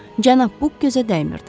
Cənab Buk gözə dəymirdi.